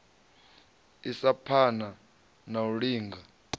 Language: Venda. isa phana na u linga